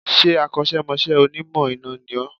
Ṣé Akọ́sẹ́mọsẹ́ Onímọ̀ iná ni ó